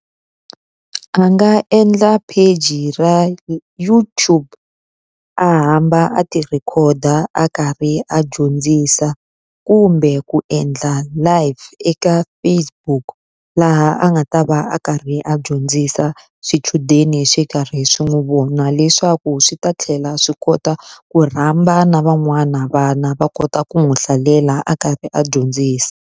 A nga endla page-i ra YouTube, a hamba a ti-record-a karhi a dyondzisa kumbe ku endla life eka Facebook. Laha a nga ta va a karhi a dyondzisa swichudeni swi karhi swi n'wi vona leswaku swi ta tlhela swi kota ku rhamba na van'wana vana va kota ku n'wi hlalela a karhi a dyondzisa.